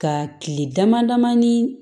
Ka kile dama dama ni